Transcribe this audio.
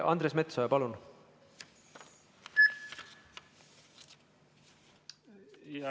Andres Metsoja, palun!